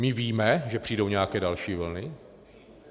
My víme, že přijdou nějaké další vlny?